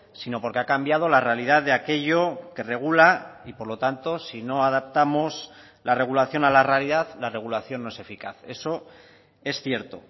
sino porque ha cambiado la realidad de aquello que regula y por lo tanto si no adaptamos la regulación a la realidad la regulación no es eficaz eso es cierto